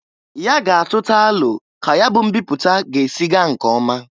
Ya ga atụta alọ ka ya bụ mbipụta ga-esi gaa nke ọma.